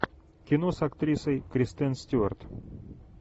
кино с актрисой кристен стюарт